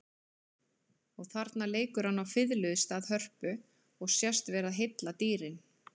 Og þarna leikur hann á fiðlu í stað hörpu og sést vera að heilla dýrin.